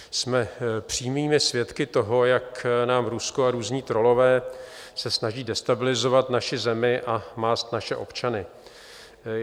Jsme přímými svědky toho, jak nám Rusko a různí trollové se snaží destabilizovat naši zemi a mást naše občany.